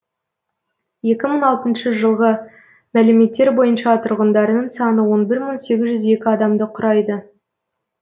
екі мың алтыншы жылғы мәліметтер бойынша тұрғындарының саны он бір мың сегіз жүз екі адамды құрайды